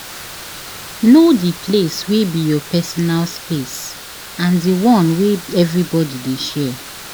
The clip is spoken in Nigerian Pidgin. Know di place wey be your personal space and di one wey everybody de share